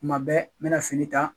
Tuma bɛɛ n bɛna fini ta